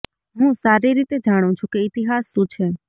હું સારી રીતે જાણું છું કે ઈતિહાસ શું છે